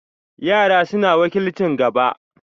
Yara suna wakilcin gaba.